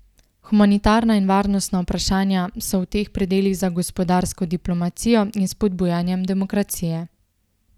Humanitarna in varnostna vprašanja so v teh predelih za gospodarsko diplomacijo in spodbujanjem demokracije.